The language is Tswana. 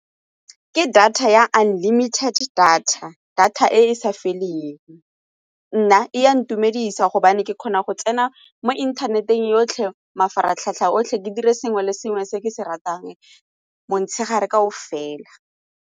Ke data ya unlimited data, data e e sa feleng. Nna e a ntumedisa gobane ke kgona go tsena mo inthaneteng yotlhe mafaratlhatlha otlhe ke dire sengwe le sengwe se ke se ratang motshegare kaofela.